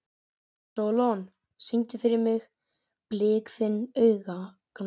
Sólon, syngdu fyrir mig „Blik þinna augna“.